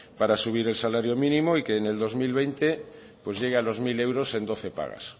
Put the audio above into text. para subir el salario mínimo y que en el dos mil veinte llegue a los mil euros en doce pagas